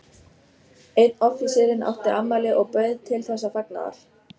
Einn offíserinn átti afmæli og bauð til þessa fagnaðar.